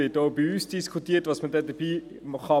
Auch bei uns wird diskutiert, was man machen kann.